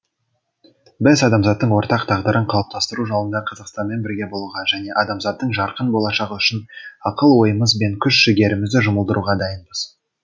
біз адамзаттың ортақ тағдырын қалыптастыру жолында қазақстанмен бірге болуға және адамзаттың жарқын болашағы үшін ақыл ойымыз бен күш жігерімізді жұмылдыруға дайынбыз